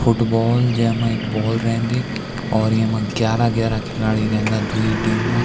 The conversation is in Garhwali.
फुटबॉल जैमा इक बॉल रेंदी और येमा ग्यारा ग्यारा खिलाडी रेंदा द्वि टीम मा।